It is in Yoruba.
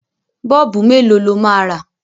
Bọ́ọ̀bù mélòó lọ máa rà?